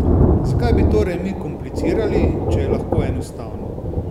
Zakaj bi torej mi komplicirali, če je lahko enostavno?